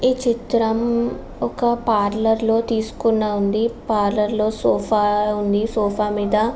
ఈ చిత్రం ఒక పార్లర్ లో తీసుకున్న ఉంది పార్లర్ లో సోఫా ఉంది సోఫా మీద --